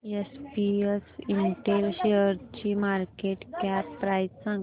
SPS Intel शेअरची market cap price सांगा